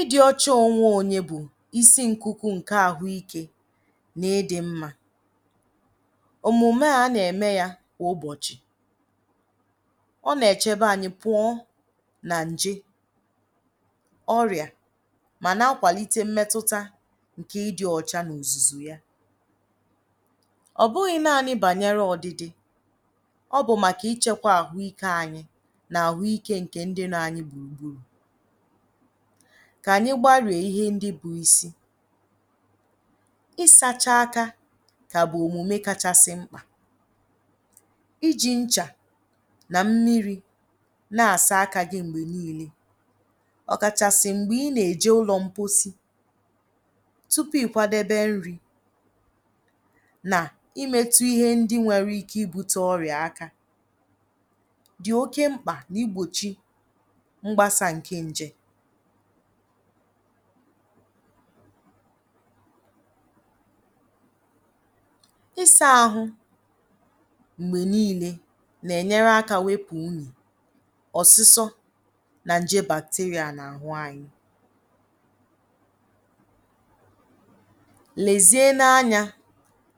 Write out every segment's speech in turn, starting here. Ịdị ọcha onwe onye bụ isi nkuku nke ahụ ike na ịdị mma, omume a a na eme ya kwa ụbọchi. ọ na echebe anyi pụọ na nje, ọria ma na akwalite mmetuta nke ịdị ọcha na ozuzu ya. ọ bụghi nani banyere ọdidi ọbụ maka ịchekwa ahụ ike nke ndi nọ anyi gburugburu ka anyi gbarie ịhe ndi bụ isi ịsacha aka ka bụ omume kachasi nkpa, ịjị nsha na mmiri na asa aka gi mgbe nile, ọ kachasi mgbe I na eje ụlọ mposi, tupu ikwadebe nri na imetu ịhe ndi nwere ike ibute ọria aka di oke nkpa i gbochi mgbasa nke nje isa ahụ mgbe nile na enyere aka wepu unyi, ọsisọ na nje bakteria na ahụ anyi. Lezie anya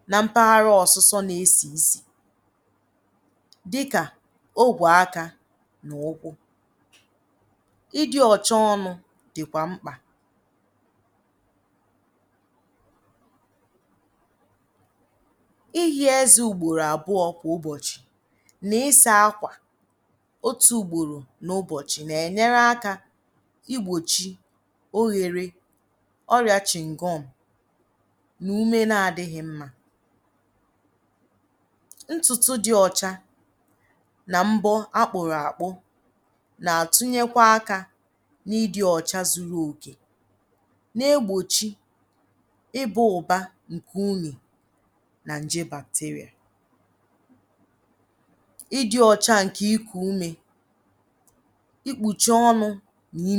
na mpaghara ọsisọ na esị isi dika ogwe aka na ụkwụ. ịdị cha ọnụ dikwa nkpa ịhị eze ugboro abụọ kwa ụbọchi na isa àkwà otu ugboro n'ụbọchị na enyere aka igbochi ighere ọria shingọm na ume na adighi mma. Ntutu di ọcha na nbọ akpụrụ akpụ na atunyekwa aka na ịdị ọcha zuru oke na egbochi i ba ụba nke unyi na bakteria. Ịdị ọcha nke iku ume, ikpuchi ọnụ gi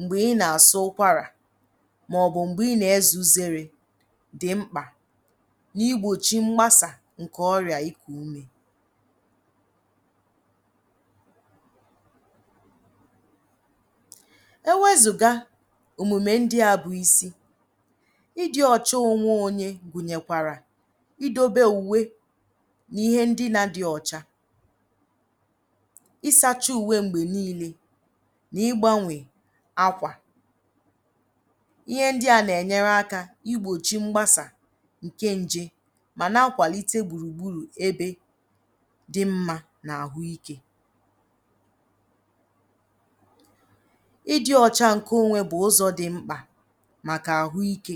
mgbe I na asọ ụkwara ma ọbụ mgbe i n'eze uzere di nkpa na igbochi mgbasa nke ọria iku ume. Ewezuga omume ndia bụ isi ịdị ọcha onwe onye gwunyekwara idebe uwe na ịhe ndina di ọcha. ịsacha uwe mgbe nile na igbanwe akwa. ihe ndia na enyere aka igbochi mgbasa nke nje ma na akwalite gburugburu ebe di ma na ahụ ike. Ịdị ọcha nke onwe onye bụỊdị ọcha onwe onye bụ isi nkuku nke ahụ ike na ịdị mma, omume a a na eme ya kwa ụbọchi. ọ na echebe anyi pụọ na nje, ọria ma na akwalite mmetuta nke ịdị ọcha na ozuzu ya. ọ bụghi nani banyere ọdidi ọbụ maka ịchekwa ahụ ike nke ndi nọ anyi gburugburu. Ka anyi gbarie ịhe ndi bụ isi ịsacha aka ka bụ omume kachasi nkpa, ịjị nsha na mmiri na asa aka gi mgbe nile, ọ kachasi mgbe I na eje ụlọ mposi, tupu ikwadebe nri na imetu ịhe ndi nwere ike ibute ọria aka di oke nkpa i gbochi mgbasa nke nje isa ahụ mgbe nile na enyere aka wepu unyi, ọsisọ na nje bakteria na ahụ anyi. Lezie anya na mpaghara ọsisọ na esị isi dika ogwe aka na ụkwụ. ịdị cha ọnụ dikwa nkpa ịhị eze ugboro abụọ kwa ụbọchi na isa àkwà otu ugboro n'ụbọchị na enyere aka igbochi ighere ọria shingọm na ume na adighi mma. Ntutu di ọcha na nbọ akpụrụ akpụ na atunyekwa aka na ịdị ọcha zuru oke na egbochi i ba ụba nke unyi na bakteria. Ịdị ọcha nke iku ume, ikpuchi ọnụ gi mgbe I na asọ ụkwara ma ọbụ mgbe i n'eze uzere di nkpa na igbochi mgbasa nke ọria iku ume. Ewezuga omume ndia bụ isi ịdị ọcha onwe onye gwunyekwara idebe uwe na ịhe ndina di ọcha. ịsacha uwe mgbe nile na igbanwe akwa. ihe ndia na enyere aka igbochi mgbasa nke nje ma na akwalite gburugburu ebe di ma na ahụ ike. Ịdị ọcha nke onwe onye bụ ụzọ di mkpa Maka ahụ ike. ụzọ di mkpa Maka ahụ ike.